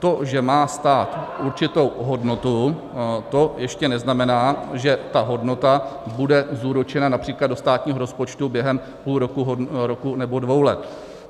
To, že má stát určitou hodnotu, to ještě neznamená, že ta hodnota bude zúročena například do státního rozpočtu během půl roku, roku nebo dvou let.